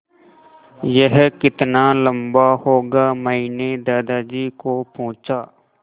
यह कितना लम्बा होगा मैने दादाजी को पूछा